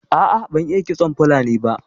A'a ban iya ƙitson fulani ba.